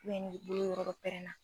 ni bolo yɔrɔ dɔ pɛrɛnna